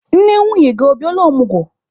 Nne nwunye gị ọ bịala ọmụgwọ?